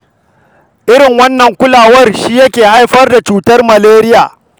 Irin wannan rashin kulawar shi yake haifar da cutar Maleriya.